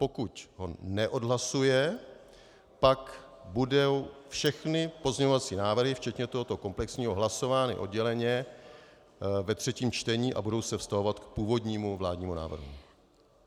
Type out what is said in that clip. Pokud ho neodhlasuje, pak budou všechny pozměňovací návrhy včetně tohoto komplexního hlasovány odděleně ve třetím čtení a budou se vztahovat k původnímu vládnímu návrhu.